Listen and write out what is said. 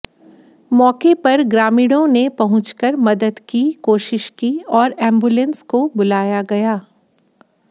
मौके पर ग्रामीणों ने पहुंचकर मदद की कोशिश की और एबुलेंस को बुलाया गया